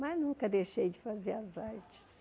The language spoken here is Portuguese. Mas nunca deixei de fazer as artes.